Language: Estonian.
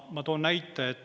Ma toon näite.